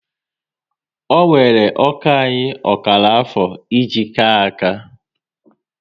Ọ wéré ọkà anyị ọkara afọ e ji ka áká